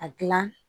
A gilan